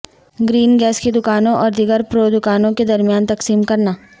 green gas کی دکانوں اور دیگر پرو دکانوں کے درمیان تقسیم کرنا